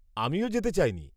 -আমিও যেতে চাইনি।